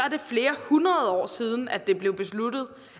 flere hundrede år siden at det blev besluttet